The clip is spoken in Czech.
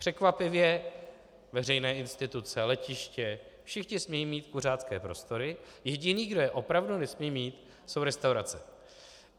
Překvapivě veřejné instituce, letiště, všichni smějí mít kuřácké prostory, jediný, kdo je opravdu nesmí mít, jsou restaurace.